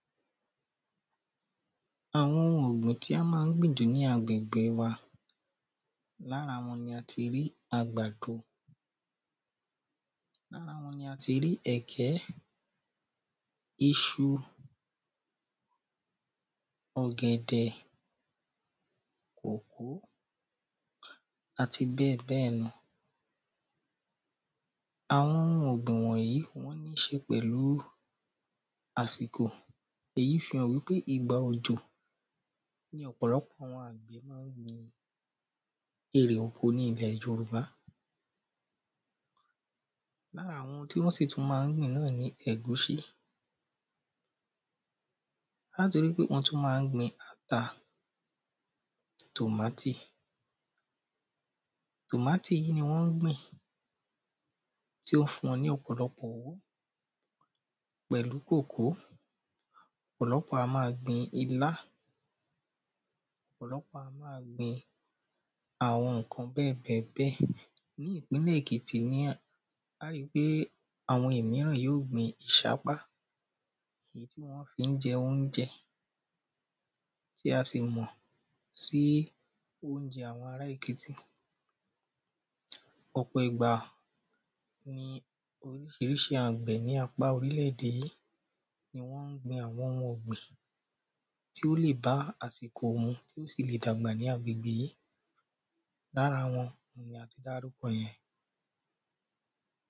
Àwọn oun ọ̀gbìn tí a ma ń gbìn jù ní àgbègbè wa Ní ara wọn ni a ti rí àgbàdo Ní ara wọn ni a ti rí ẹ̀gẹ́ Iṣu ọ̀gẹ̀dẹ̀ àti bẹ́ẹ̀bẹ́ẹ̀ lọ Àwọn oun ọ̀gbìn wọ̀nyìí ni wọ́n ní ṣe pẹ̀lú àsìko Èyí fi hàn wípé ìgbà òjò ni ọ̀pọ̀lọpọ̀ àwọn àgbẹ̀ ma ń èrè oko ní ilẹ̀ Yorùbá Ní ara oun tí wọ́n sì tún ma ń gbìn náà ni ẹ̀gúsí A ó tún ri pé wọ́n tún ma ń gbìn ata Tomatoe Tomatoe yìí ni wọ́n ń gbìn tí ó fún wọn ní ọ̀pọ̀lọpọ̀ owó pẹ̀lú kòkó Ní ìpínlẹ̀ Èkìtì ni a óò ri pé àwọn ìmíràn yóò gbìn ìṣápá Ní ìpínlẹ̀ Èkìtì ni a óò ri pé àwọn ìmíràn yóò gbìn ìṣápá Èyí tí wọ́n fi ń jẹ óunjẹ tí a sì mọ̀ sí óunjẹ àwọn ará Èkìtì Ọ̀pọ̀ ìgbà ni orísirísi àwọn àgbẹ̀ ní apá orílẹ̀ èdè ni wọ́n ń gbìn àwọn oun ọ̀gbìn tí ó lè bá àsìkò mu tí ó sì lè gba ní agbègbè yìí Lára wọn ni a ti dárúkọ yẹn